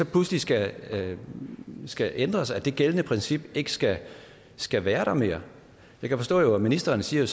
pludselig skal skal ændres og at det gældende princip ikke skal skal være der mere jeg kan forstå at ministeren siger